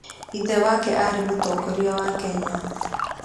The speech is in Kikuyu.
Ithe wake arĩ Mũtongoria wa Kenya